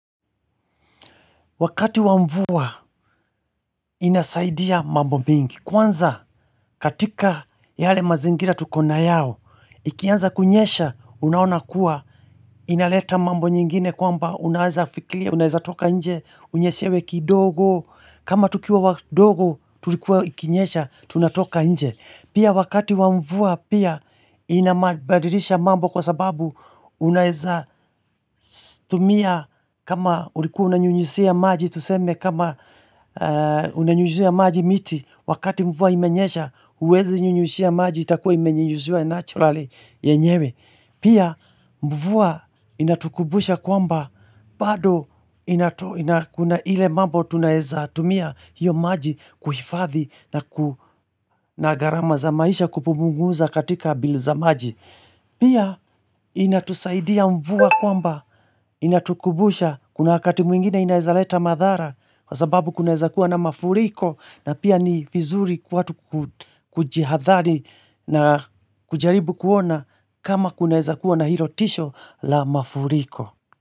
Wakati wa mvua, inasaidia mambo mingi. Kwanza, katika yale mazingira tukona yao, ikianza kunyesha, unaona kuwa, inaleta mambo nyingine kwamba unaweza fikiria, unaweza toka nje, unyeshewe kidogo, kama tukiwa wadogo, tulikuwa ikinyesha, tunatoka nje. Pia wakati wa mvua, pia inabadilisha mambo kwa sababu, unaweza tumia, kama ulikuwa unanyunyuzia maji, Tuseme kama unanyujuzia maji miti Wakati mvua imenyesha huwezi nyunyuzia maji itakuwa imenyunyuzia naturally nyewe. Pia mvua inatukumbusha kwamba bado kuna ile mambo tunaweza tumia hiyo maji kuhifadhi na nagarama za maisha kupunguza katika bili za maji Pia inatusaidia mvua kwamba inatukumbusha kuna wakati mwingine inawezaleta madhara kwa sababu kunaweza kuwa na mafuriko na pia ni vizuri watu kujihadhari na kujaribu kuona kama kunaweza kuwa na hilo tisho la mafuriko.